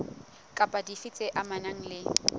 kapa dife tse amanang le